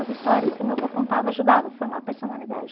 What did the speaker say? As histórias que o meu vô contava ajudava a formar personalidade.